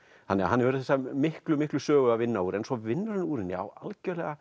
þannig að hann hefur þessa miklu miklu sögu að vinna úr svo vinnur hann úr henni á algjörlega